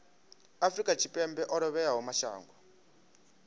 afrika tshipembe o lovhelaho mashango